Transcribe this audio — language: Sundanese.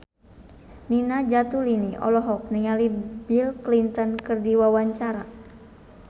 Nina Zatulini olohok ningali Bill Clinton keur diwawancara